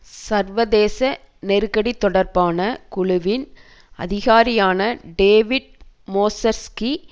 சர்வதேச நெருக்கடி தொடர்பான குழுவின் அதிகாரியான டேவிட் மோசர்ஸ்கி